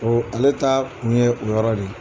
ale ta kun ye o yɔrɔ de ye